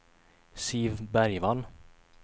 Siv Bergvall